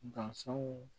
Dansanw